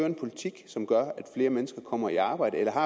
en politik som gør at flere mennesker kommer i arbejde eller har